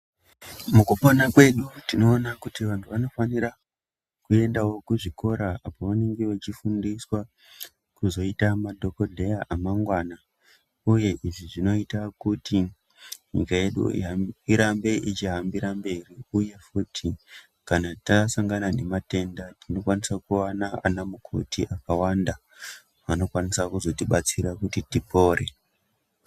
Mukupona kwedu tinoona kuti vantu vanofanirwa kuendawo kuzvikora apo paanenge echifundiswa kuzoita madhokodheya emangwana. Uye izvi zvinoita kuti nyika yudu irambe ichihambira mberi. uye kana tichinge tasongana nematenda tinokwanisa kuona anamukoti akawanda, anokwanisa kuzotibatsira kuti tipore.